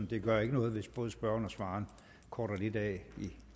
det gør ikke noget hvis både spørgeren og svareren korter lidt af i